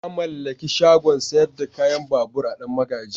Na mallaki shagon sayar da kayan babur a danmagaji.